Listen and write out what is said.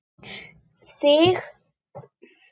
Við mig sem þekki þig.